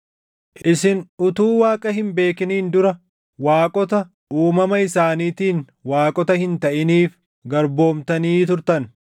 Isin utuu Waaqa hin beekiniin dura, waaqota uumama isaaniitiin waaqota hin taʼiniif garboomtanii turtan.